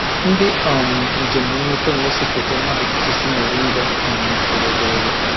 Ndị um njem nleta na-ese foto n'akụkụ osisi moringa um toro ogologo